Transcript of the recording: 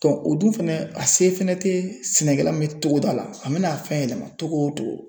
o dun fɛnɛ a se fɛnɛ te sɛnɛkɛla min ye togoda la a me na a fɛn yɛlɛma cogo o cogo